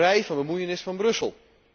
vrij van bemoeienis van Brussel.